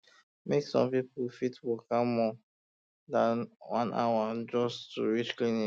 some people fit waka more um than one hour um just to reach clinic um